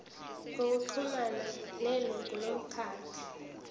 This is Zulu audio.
ngokuxhumana nelungu lomkhandlu